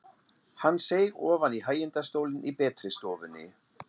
Hann seig ofan í hægindastólinn í betri stofunni.